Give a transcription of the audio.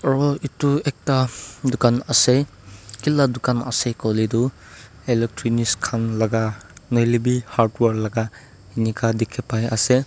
aru etu ekta dukan ase ki laga dukan ase koile tu electronics khan laga na hoiley be hardware laga ineka dikhi pai ase.